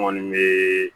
N kɔni bɛ